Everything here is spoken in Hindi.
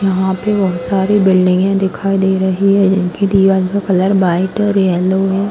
यहाँ पे बहोत सारी बिल्डिंगे दिखाई दे रही है। जिनकी दिवाल (दीवार) का कलर व्हाइट है और येलो है।